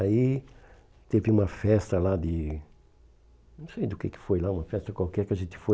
Aí teve uma festa lá de... Não sei do que que foi lá, uma festa qualquer que a gente foi.